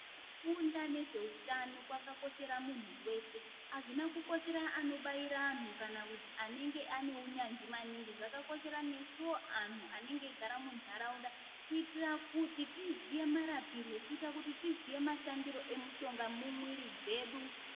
Kufunda ne zveutano kwaka koshera muntu weshe azvina ku koshera ano baira anhu kana kuti anenge ane unyanzvi maningi zvaka koshera nesuwo anhu anenge eyi gara munharaunda kuitira kuti tiziye marapiro kuita kuti tiziye mashandiro emushonga mu mwiri dzedu.